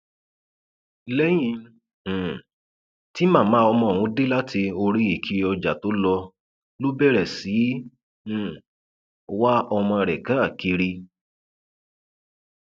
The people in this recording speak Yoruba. lẹyìn um tí màmá ọmọ ọhún dé láti orí ìkiri ọjà tó lọ ló bẹrẹ sí í um wá ọmọ rẹ káàkiri